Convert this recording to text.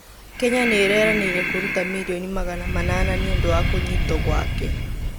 Kenya nĩireranĩire kũrũta mirioni magana manana nĩũndũ wa kũnyitwo gwake